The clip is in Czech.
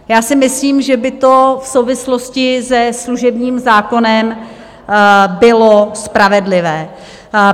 Já si myslím, že by to v souvislosti se služebním zákonem bylo spravedlivé.